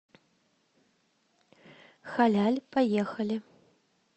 халяль поехали